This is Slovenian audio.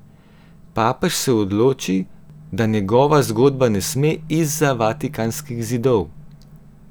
Papež se odloči, da njegova zgodba ne sme izza vatikanskih zidov!